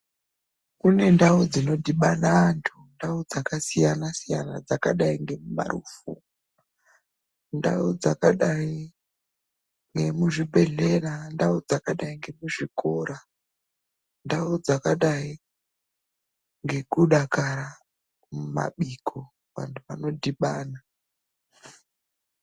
Kune ndau dzinodhibana antu. Ndau dzakasiyana siyana dzakadai ngeparufu, ndau dzakadai ngemuzvibhedhlera, ndau dzakadai ngemuzvikora, ndau dzakadai ngekudakara mumabiko vanhu vanodhibana.